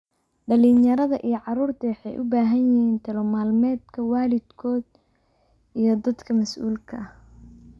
Dhallinyarada iyo carruurtu waxay u baahan yihiin talo-maalmeedka waalidkood iyo dadka masuulka kaah.